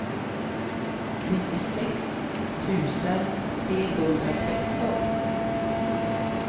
nittiosex tusen trehundratretton